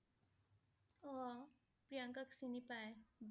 অ' সেইটো সি প্ৰিয়ংকাক চিনি পায়